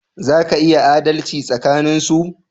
Za ka iya adalci tsakanin su